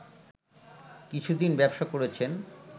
কিছুদিন ব্যবসা করেছেন